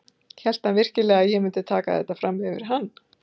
Hélt hann virkilega að ég myndi taka þetta fram yfir hann?